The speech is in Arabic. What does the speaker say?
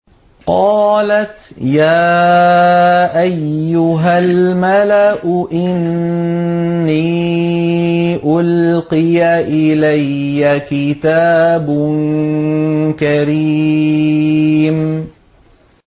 قَالَتْ يَا أَيُّهَا الْمَلَأُ إِنِّي أُلْقِيَ إِلَيَّ كِتَابٌ كَرِيمٌ